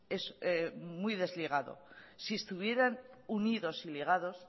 es muy desligado si estuvieran unidos y ligados